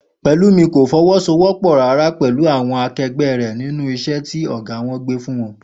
Pè̩lúmi kò fo̩wó̩sowó̩pò̩ rárá pè̩lú àwo̩n ake̩gbé̩ rè̩ nínú is̩é̩ tí ò̩gá wo̩n fún wo̩n